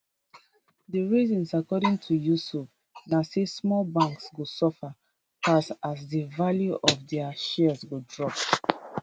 di reasons according to yusuf na say small banks go suffer pass as di value of dia shares go drop